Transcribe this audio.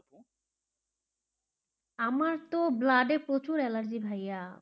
আমার তো blood এ প্রচুর অ্যালার্জি ভাইয়া, .